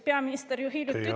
Peaminister ju hiljuti ütles …